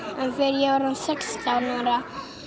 en þegar ég verð sextán ára